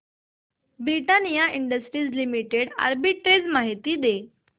Britannia industries limited arbitrage माहिती दे